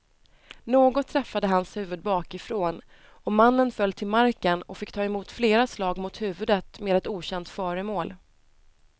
Något träffade hans huvud bakifrån och mannen föll till marken och fick ta emot flera slag mot huvudet med ett okänt föremål.